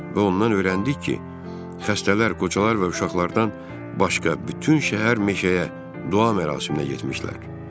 Və ondan öyrəndik ki, xəstələr, qocalar və uşaqlardan başqa bütün şəhər meşəyə dua mərasiminə getmişdilər.